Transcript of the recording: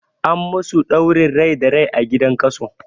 An masu ɗaurin rai da rai a gidan kaso